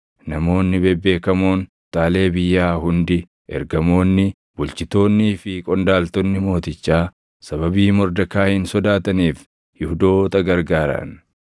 Namoonni bebeekamoon kutaalee biyyaa hundi, ergamoonni, bulchitoonnii fi qondaaltonni mootichaa sababii Mordekaayiin sodaataniif Yihuudoota gargaaran.